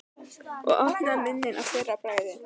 Og opnaði munninn að fyrra bragði.